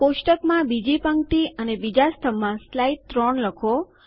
કોષ્ટકમાં બીજી પંક્તિ અને બીજા સ્તંભમાં સ્લાઇડ ૩ લખો